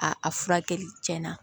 A a furakɛli tiɲɛna